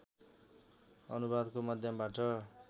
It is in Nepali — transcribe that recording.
अनुवादको माध्यमबाट